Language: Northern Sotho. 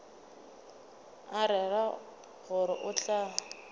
a rera gore o tla